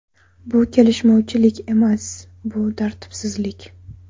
Bu kelishmovchilik emas, bu tartibsizlik.